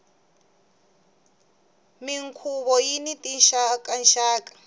minkhuvo yini tinxaka nxaka